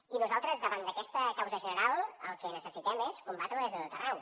i nosaltres davant d’aquesta causa general el que necessitem és combatre la des de tot arreu